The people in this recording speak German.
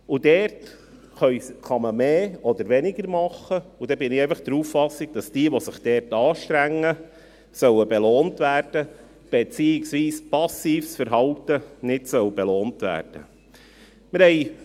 Dort kann man mehr oder weniger tun, und ich bin der Auffassung, dass jene, die sich anstrengen, belohnt werden sollen, beziehungsweise, dass passives Verhalten nicht belohnt werden soll.